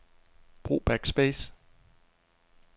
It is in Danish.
Brug backspace.